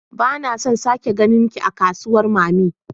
Bana son sake ganinki a kasuwar mammy